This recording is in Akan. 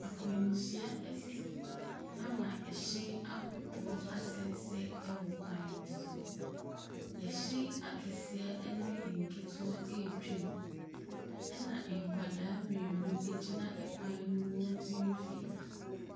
Akwanhyia asi ama hyɛn ahodoɔ asɛesɛe ɛwɔ kwan ne so. Ahyɛn akɛseɛ ɛne nketewa ɛretwa mu , ɛna nkwadaa mmienu ɛgyina kwan no mfimfini.